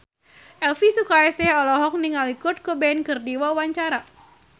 Elvi Sukaesih olohok ningali Kurt Cobain keur diwawancara